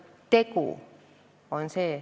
Tegu on oluline.